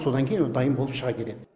содан кейін ол дайын болып шыға келеді